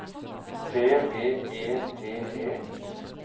T V E T E